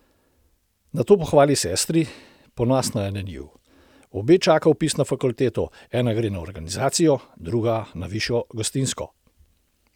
Nato pohvali sestri, ponosna je na njiju: "Obe čaka vpis na fakulteto, ena gre na organizacijo, druga na višjo gostinsko.